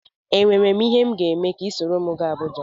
Enwere ihe m ga-eme ka ị soro m jee Abuja?